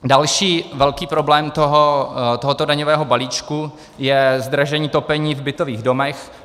Další velký problém tohoto daňového balíčku je zdražení topení v bytových domech.